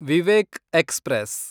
Vivek express